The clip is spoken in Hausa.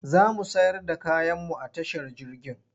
Za mu sayar da kayanmu a tashar jirgin.